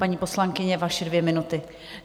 Paní poslankyně, vaše dvě minuty.